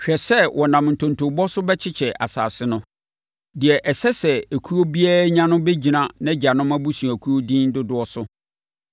Hwɛ sɛ wɔnam ntontobɔ so bɛkyekyɛ asase no. Deɛ ɛsɛ sɛ ekuo biara nya no bɛgyina nʼagyanom abusuakuo edin dodoɔ so.